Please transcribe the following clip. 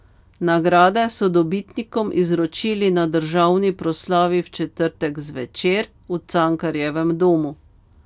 Nagrade so dobitnikom izročili na državni proslavi v četrtek zvečer v Cankarjevem domu.